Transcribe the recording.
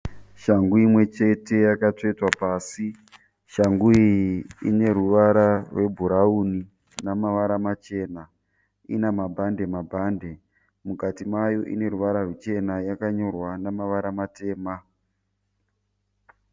Shangu imwechete yakatsvetwa pasi. Shangu iyi ineruvara rwebhurauni namavara machena, inamabhande-mabhande. Mukati mayo ineruvara ruchena yakanyorwa namavara matema.